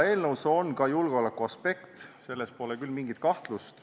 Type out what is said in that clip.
Eelnõus on ka julgeolekuaspekt, selles pole küll mingit kahtlust.